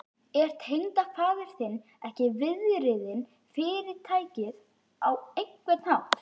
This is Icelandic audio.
Er tengdafaðir þinn ekki viðriðinn Fyrirtækið á einhvern hátt?